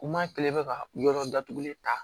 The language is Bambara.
N m'a kelen bɛ ka yɔrɔ datugulen ta